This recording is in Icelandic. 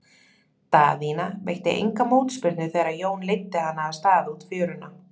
Daðína veitti enga mótspyrnu þegar Jón leiddi hana af stað út fjöruna.